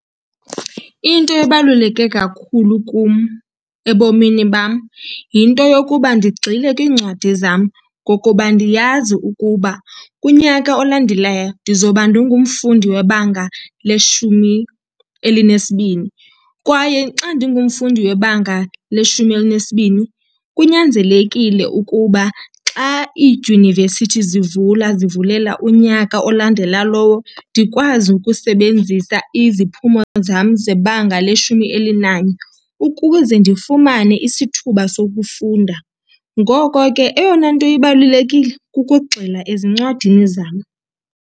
Into ebaluleke kakhulu kum ebomini bam yinto yokuba ndigxile kwiincwadi zam, ngokuba ndiyazi ukuba kunyaka olandelayo ndizoba ndingumfundi webanga leshumi elinesibini. Kwaye xa ndingumfundi webanga leshumi elinesibini kunyanzelekile ukuba xa iidyunivesithi zivula zivulela unyaka olandela lowo ndikwazi ukusebenzisa iziphumo zam zebanga leshumi elinanye ukuze ndifumane isithuba sokufunda. Ngoko ke eyona nto ibalulekile kukugxila ezincwadini zam.